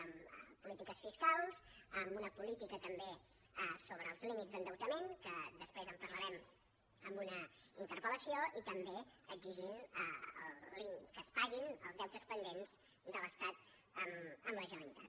amb polítiques fiscals amb una política també sobre els límits d’endeutament que després en parlarem en una interpel·lació i també exigint que es paguin els deutes pendents de l’estat a la generalitat